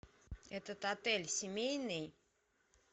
этот отель семейный